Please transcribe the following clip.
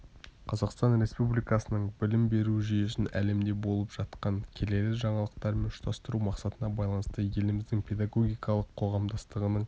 қазақстан республикасының білім беру жүйесін әлемде болып жатқан келелі жаңалықтармен ұштастыру мақсатына байланысты еліміздің педагогикалық қоғамдастығының